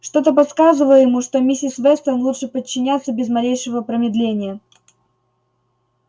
что-то подсказывало ему что миссис вестон лучше подчиняться без малейшего промедления